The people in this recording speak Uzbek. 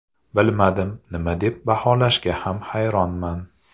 Bilmadim, nima deb baholashga ham hayronman.